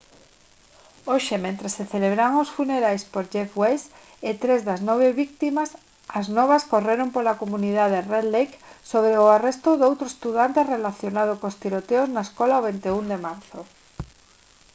hoxe mentres se celebraban os funerais por jeff weise e tres das nove vítimas as novas correron pola comunidade red lake sobre o arresto doutro estudante relacionado cos tiroteo na escola o 21 de marzo